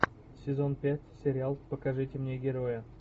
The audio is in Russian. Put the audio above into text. сезон пять сериал покажите мне героя